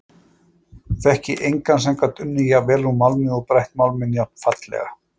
Þekki engan sem gat unnið jafnvel úr málmi og brætt málminn jafnfallega.